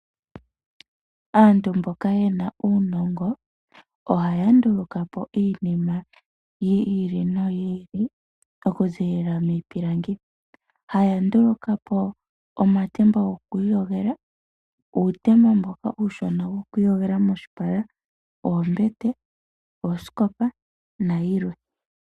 Aantu mboka yena uunongo ohaya nduluka po iinima yi ili noyi ili okuzilila miipilangi. Haya nduluka po omatemba goku iyogela, uutemba mboka uushona woku iyogela moshipala, oombete, oosikopa nayilwe.